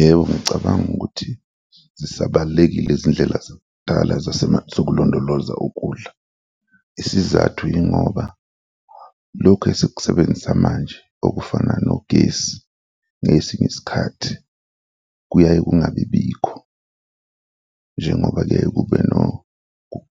Yebo, ngicabanga ukuthi zisabalulakile izindlela zakudala zokulondoloza ukudla. Isizathu yingoba lokhu esekusebenzisa manje okufana nogesi, ngesinye isikhathi kuyaye kungabibikho njengoba-ke